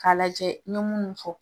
Ka lajɛ n ye munnu fɔ.